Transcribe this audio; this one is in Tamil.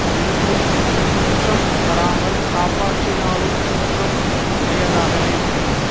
இருந்து குற்றம் வராமல் காப்பாற்றினாலும் குற்றம் உடையதாகவே முடியும்